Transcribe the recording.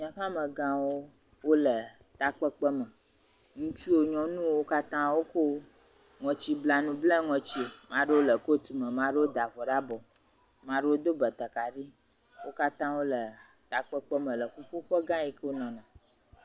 Míaƒe amegãwo wole takpekpeme. Ŋutsuwo, nyɔnuwo katã woko ŋɔtsiblanu bla ŋɔtsie. Maa ɖewo le kotume, maa ɖewo da vɔ ɖe abɔ, maa ɖewo do batakari. Wo katã wole takpekpeme le ƒuƒoƒegã yi ke wonɔ me.